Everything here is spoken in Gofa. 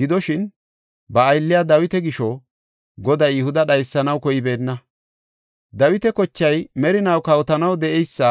Gidoshin, ba aylliya Dawita gisho, Goday Yihuda dhaysanaw koybeenna; Dawita kochay merinaw kawotanaw de7eysa